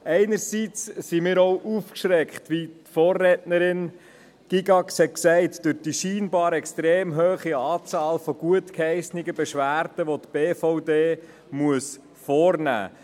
Einerseits hat uns die – wie die Vorrednerin Gygax sagte – scheinbar hohe Anzahl gutgeheissener Beschwerden, die die BVD beurteilen muss, auch aufgeschreckt.